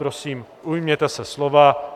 Prosím, ujměte se slova.